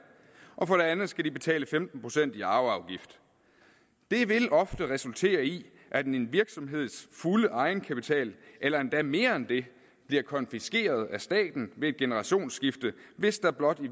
og for det andet skal de betale femten procent i arveafgift det vil ofte resultere i at en virksomheds fulde egenkapital eller endda mere end det bliver konfiskeret af staten ved et generationsskifte hvis der blot i